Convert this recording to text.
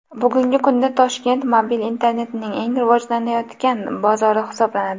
Bugungi kunda Toshkent mobil internetning eng rivojlanayotgan bozori hisoblanadi.